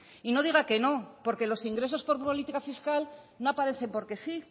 y no diga que no porque los ingresos por política fiscal no aparecen porque sí